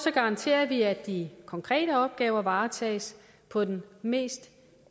garanterer vi at de konkrete opgaver varetages på den mest